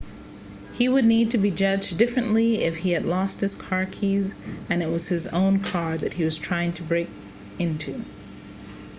he would need to be judged differently if he had lost his car keys and it was his own car that he was trying to break into